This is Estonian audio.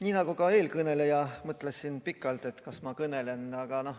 Nii nagu eelkõneleja, mõtlesin ka mina pikalt, kas kõnelda.